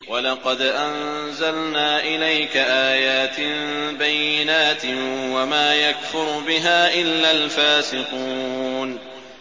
وَلَقَدْ أَنزَلْنَا إِلَيْكَ آيَاتٍ بَيِّنَاتٍ ۖ وَمَا يَكْفُرُ بِهَا إِلَّا الْفَاسِقُونَ